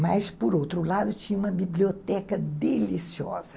Mas, por outro lado, tinha uma biblioteca deliciosa.